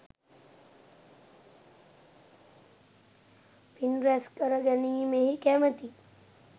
පින් රැස් කර ගැනීමෙහි කැමති